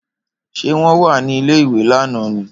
Ṣé wọ́n wà ní ilé-ìwé lánàá ni?